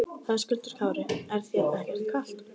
Höskuldur Kári: Er þér ekkert kalt?